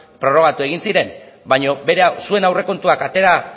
prorrogatu egin ziren baino zuen aurrekontuan atera